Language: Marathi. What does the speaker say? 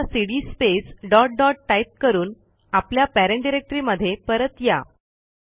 आता सीडी स्पेस डॉट dotटाईप करून आपल्या पेरेंट डिरेक्टरीमध्ये परत या